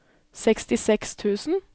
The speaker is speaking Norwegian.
sekstiseks tusen